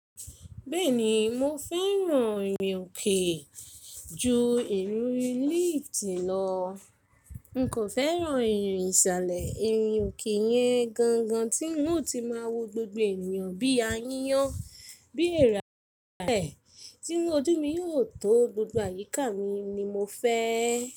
Bẹ́ẹ̀ni, mo fẹ́ràn irin òkè ju irun líìftì lọ. N kò fẹ́ràn irin ìsàlẹ̀. Irin òkè yẹn gangan tí n ó ti máa wo gbogbo ènìyàn bí ayán, bí èèrà bẹ́ẹ̀. Tí ojú mi yóò tó gbogbo àyíká mi ni mo fẹ́.